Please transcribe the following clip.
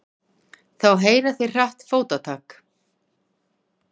Þá heyra þeir hratt fótatak.